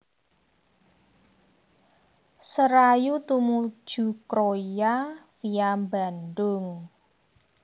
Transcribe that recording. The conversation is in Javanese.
Serayu tumuju Kroya via Bandung